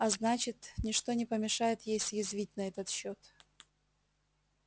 а значит ни что не помешает ей съязвить на этот счёт